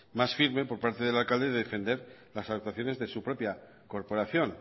más firme por parte del alcalde de defender las actuaciones de su propia corporación